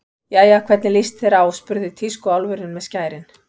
Jæja, hvernig líst þér á spurði tískuálfurinn með skærin.